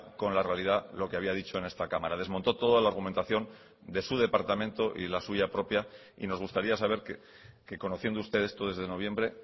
con la realidad lo que había dicho en esta cámara desmontó toda la argumentación de su departamento y la suya propia y nos gustaría saber que conociendo ustedes esto desde noviembre